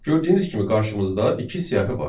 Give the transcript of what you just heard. Gördüyünüz kimi qarşımızda iki siyahı var.